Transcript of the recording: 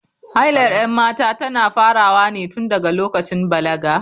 Hailar 'yan mata tana farawa ne tun daga lokacin balaga.